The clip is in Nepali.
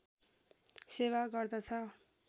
सेवा गर्दछ